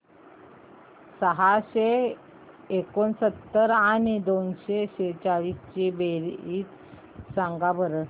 सहाशे एकोणसत्तर आणि दोनशे सेहचाळीस ची बेरीज सांगा बरं